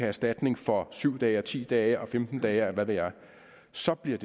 erstatning for syv dage og ti dage og femten dage og hvad ved jeg så bliver